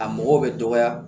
A mɔgɔw bɛ dɔgɔya